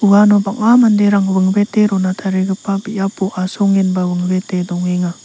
uano bang·a manderang wingwete rona tarigipa biapo asongenba wingwete dongenga.